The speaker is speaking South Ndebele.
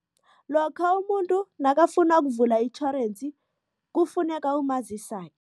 Lokha umuntu nakafuna ukuvula itjhorensi kufuneka